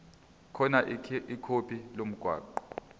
khona ikhodi lomgwaqo